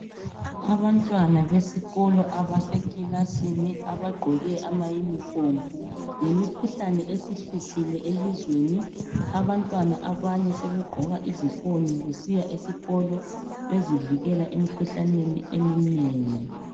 Abantwana besikolo abasekilasini, abagqoke ama uniform, ngemikhuhlane esihluphile elizweni, abantwana abanye sebegqoka izifonyo besiya esikolo, bezivikela emikhuhlaneni eminengi.